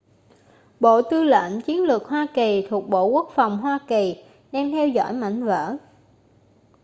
bộ tư lệnh chiến lược hoa kỳ thuộc bộ quốc phòng hoa kỳ đang theo dõi mảnh vỡ